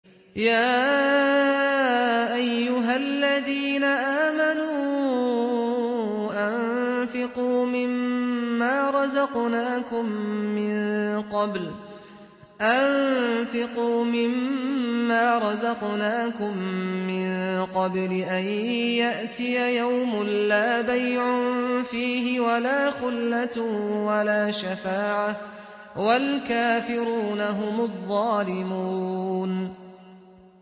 يَا أَيُّهَا الَّذِينَ آمَنُوا أَنفِقُوا مِمَّا رَزَقْنَاكُم مِّن قَبْلِ أَن يَأْتِيَ يَوْمٌ لَّا بَيْعٌ فِيهِ وَلَا خُلَّةٌ وَلَا شَفَاعَةٌ ۗ وَالْكَافِرُونَ هُمُ الظَّالِمُونَ